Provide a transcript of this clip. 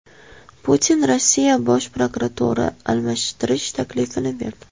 Putin Rossiya bosh prokurorini almashtirish taklifini berdi.